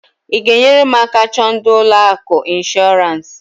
I g'enyere m aka chọọ ndị ụlọ akụ inshorance?